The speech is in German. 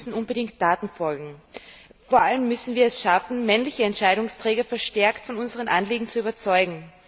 Es müssen unbedingt Taten folgen. Vor allem müssen wir es schaffen, männliche Entscheidungsträger verstärkt von unseren Anliegen zu überzeugen.